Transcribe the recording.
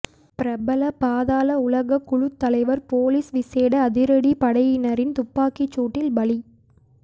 பிரபல பாதாள உலகக் குழுத்தலைவர் பொலிஸ் விசேட அதிரடிப் படையினரின் துப்பாக்கிச் சூட்டில் பலி